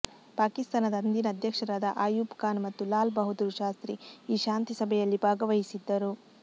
ಪಾಕಿಸ್ತಾನದ ಅಂದಿನ ಅಧ್ಯಕ್ಷರಾದ ಆಯೂಬ್ ಖಾನ್ ಮತ್ತು ಲಾಲ್ ಬಹಾದ್ದೂರ್ ಶಾಸ್ತ್ರಿ ಈ ಶಾಂತಿ ಸಭೆಯಲ್ಲಿ ಭಾಗವಹಿಸಿದ್ದರು